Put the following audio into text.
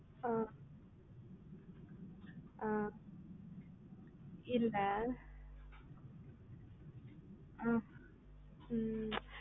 ஆஹ் ஆஹ் இல்ல ஆஹ் ம்